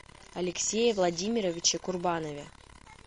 алексее владимировиче курбанове